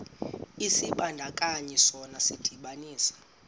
isibandakanyi sona sidibanisa